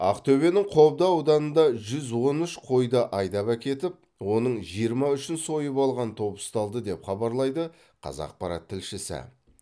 ақтөбенің қобда ауданында жүз он үш қойды айдап әкетіп оның жиырма үшін сойып алған топ ұсталды деп хабарлайды қазақпарат тілшісі